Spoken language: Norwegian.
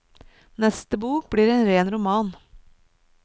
Neste bok blir en ren roman.